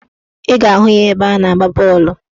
Ị ga-ahụ ya ebe a na-agba bọọlụ